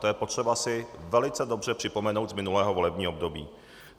To je potřeba si velice dobře připomenout z minulého volebního období.